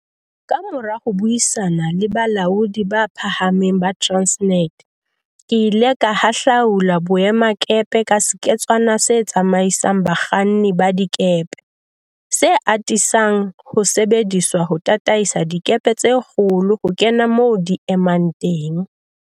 Kamora ho buisana le balaodi ba phahameng ba Transnet, ke ile ka hahlaula boemakepe ka seketswana se tsamaisang bakganni ba dikepe, se atisang ho sebediswa ho tataisa dikepe tse kgolo ho kena moo di emang teng.